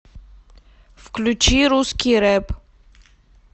включи русский рэп